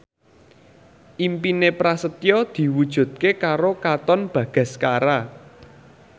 impine Prasetyo diwujudke karo Katon Bagaskara